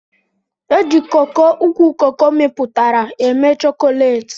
Eji coco ukwu coco miputara eme chokolate.